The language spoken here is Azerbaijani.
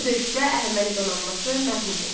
Bu döyüşdə Əhəməni donanması məğlub oldu.